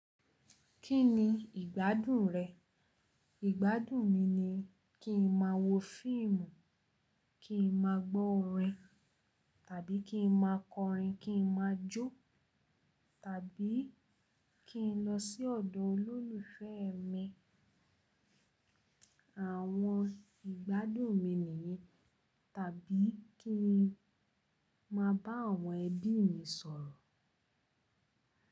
Kí ni ìgbádùn rẹ̀? Ìgbádùn mi ni kí n má a wo fíìmù, kí n má a gbọ́ orin, tàbí kí n má a kọrin, kí n má a jó, tàbí kí n lọ sí ọ̀dọ̀ olólùfẹ́ mi. Àwọn ìgbádùn mi nìyí, tàbí kí n má a bá àwọn ẹbí mi sọ̀rọ̀.